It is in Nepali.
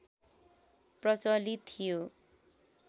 प्रचलित थियो